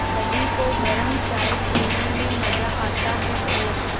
सभी को गरम चाय पीने में मज़ा आता है और